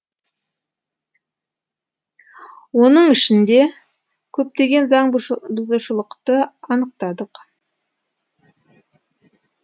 оның ішінде көптеген заңбұзушылықты анықтадық